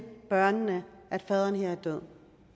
børnene at faderen her var død